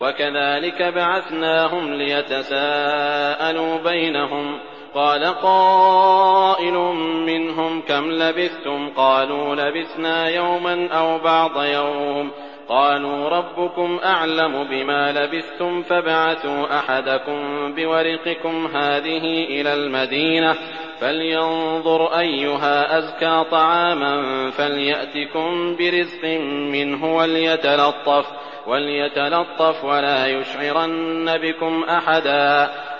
وَكَذَٰلِكَ بَعَثْنَاهُمْ لِيَتَسَاءَلُوا بَيْنَهُمْ ۚ قَالَ قَائِلٌ مِّنْهُمْ كَمْ لَبِثْتُمْ ۖ قَالُوا لَبِثْنَا يَوْمًا أَوْ بَعْضَ يَوْمٍ ۚ قَالُوا رَبُّكُمْ أَعْلَمُ بِمَا لَبِثْتُمْ فَابْعَثُوا أَحَدَكُم بِوَرِقِكُمْ هَٰذِهِ إِلَى الْمَدِينَةِ فَلْيَنظُرْ أَيُّهَا أَزْكَىٰ طَعَامًا فَلْيَأْتِكُم بِرِزْقٍ مِّنْهُ وَلْيَتَلَطَّفْ وَلَا يُشْعِرَنَّ بِكُمْ أَحَدًا